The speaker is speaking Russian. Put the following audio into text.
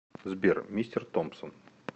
сбер мистер томпсон